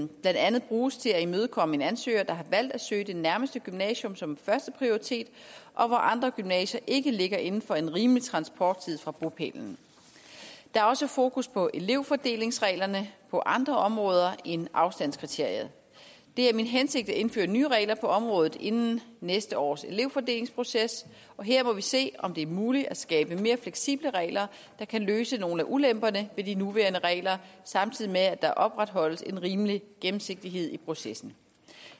blandt andet bruges til at imødekomme en ansøger der har valgt at søge det nærmeste gymnasium som førsteprioritet og hvor andre gymnasier ikke ligger inden for en rimelig transporttid fra bopælen der er også fokus på elevfordelingsreglerne på andre områder end afstandskriteriet det er min hensigt at indføre nye regler på området inden næste års elevfordelingsproces og her må vi se om det er muligt at skabe mere fleksible regler der kan løse nogle af ulemperne ved de nuværende regler samtidig med at der opretholdes en rimelig gennemsigtighed i processen